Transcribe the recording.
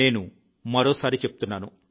నేను మరోసారి చెప్తున్నాను